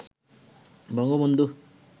Bangabandhu